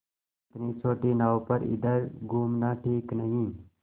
इतनी छोटी नाव पर इधर घूमना ठीक नहीं